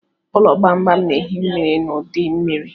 Ụlọ gbamgbam na-ehi mmiri n'udu mmiri.